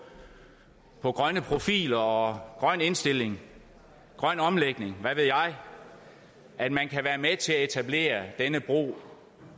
på grønne profiler og grøn indstilling grøn omlægning hvad ved jeg er med til at etablere denne bro